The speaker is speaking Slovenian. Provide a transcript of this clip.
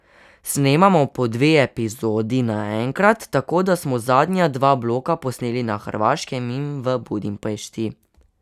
Snemamo po dve epizodi naenkrat, tako da smo zadnja dva bloka posneli na Hrvaškem in v Budimpešti.